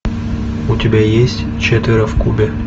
у тебя есть четверо в кубе